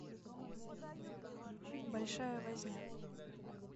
большая возня